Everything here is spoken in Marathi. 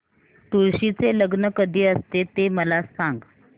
तुळशी चे लग्न कधी असते ते मला सांग